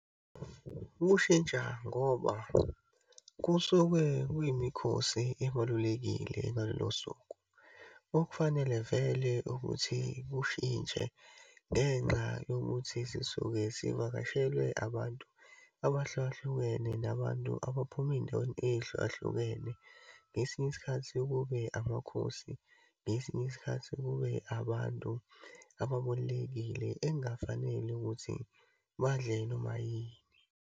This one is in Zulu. Ukushintsha ngoba kusuke kuyimikhosi ebalulekile ngalolo suku. Okufanele vele ukuthi kushintshe ngenxa yokuthi sisuke sivakashele abantu abahlukahlukene nabantu abaphuma eyindaweni eyihlukahlukene. Ngesinye isikhathi kube amakhosi, ngesinye isikhathi kube abantu ababalulekile ekungafanele ukuthi badle noma yini.